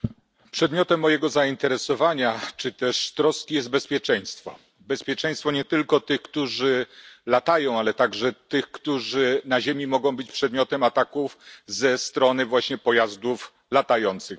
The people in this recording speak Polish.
Panie Przewodniczący! Przedmiotem mojego zainteresowania czy też troski jest bezpieczeństwo. Bezpieczeństwo nie tylko tych, którzy latają, ale także tych, którzy na ziemi mogą być przedmiotem ataków ze strony właśnie pojazdów latających.